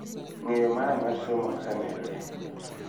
Ng�eyo mara mar somo osemedore